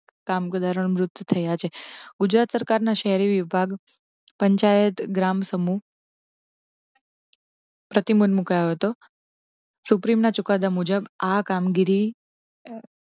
કામદારો ના મૃત્યુ થયા છે. ગુજરાત સરકાર ના શહેરી વિભાગ, પંચાયત ગ્રામ સમૂહ પ્રતિબંધ મુકાયો હતો સુપ્રીમ ના ચુકાદા મુજબ આ કામગીરી.